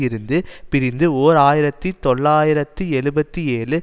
இருந்து பிரிந்து ஓர் ஆயிரத்தி தொள்ளாயிரத்து எழுபத்தி ஏழு